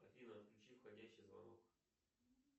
афина отключи входящий звонок